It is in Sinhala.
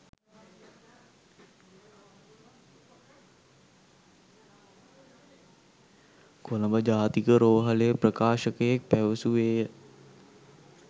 කොළඹ ජාතික රෝහලේ ප්‍රකාශකයෙක් පැවසුවේය.